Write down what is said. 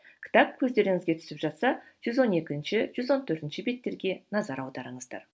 кітап көздеріңізге түсіп жатса жүз он екінші жүз он төртінші беттерге назар аударыңыздар